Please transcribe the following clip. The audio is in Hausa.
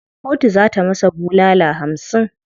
Kotu za ta masa bulala hamsin.